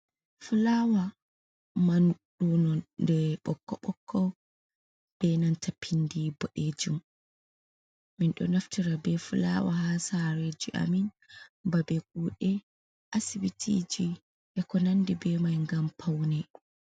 fulawa man duno de ɓokko bokko be nanta pindi bodejum min do naftira be fulawa ha sareji amin ba be kude asibitiji a konandi be mai gam paune